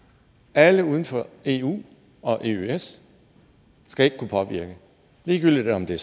alle uden for eu og eøs skal ikke kunne påvirke ligegyldigt om det